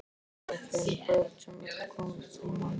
Þau áttu fimm börn sem öll komust til manns.